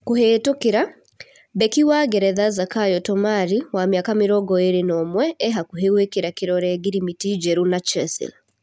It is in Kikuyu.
(Kũhetũkĩra) Mbeki wa Ngeretha Zakayo Tomari wa mĩaka mĩrongo ĩrĩ na ũmwe, e-hakuhĩ gũĩkĩra kĩrore ngirimiti njerũ na Chasile.